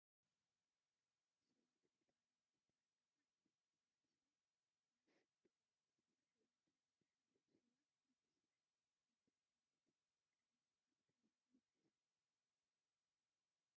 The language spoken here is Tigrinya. ስዋ ፍሉይ ባህላዊ መስተ ሃገርና እዩ፡፡ ፅራይ ስዋ ናብ ብቐርኒ ዝተሰርሐ ዋንጫ ይቕዳሕ ኣሎ፡፡ ስዋ ንምስራሕ እንታይ ዓይነት ቅመማ ኣብ ተግባር ይውዕል?